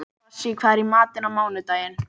Bassí, hvað er í matinn á mánudaginn?